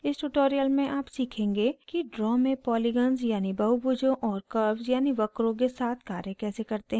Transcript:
इस tutorial में आप सीखेंगे कि draw में polygons यानि बहुभुजों और curves यानि वक्रों के साथ कार्य कैसे करते हैं